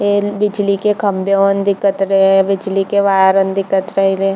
L बिजली के खम्भे ऑन दिखत रहे बिजली के वायर दिखत रहिले।